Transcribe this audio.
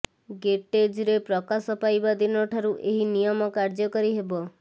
ଗେଜେଟରେ ପ୍ରକାଶ ପାଇବା ଦିନଠାରୁ ଏହି ନିୟମ କାର୍ଯ୍ୟକାରୀ ହେବ